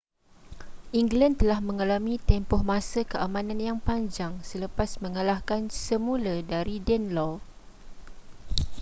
england telah mengalami tempoh masa keamanan yang panjang selepas mengalahkan semula dari danelaw